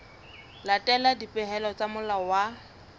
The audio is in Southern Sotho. latela dipehelo tsa molao wa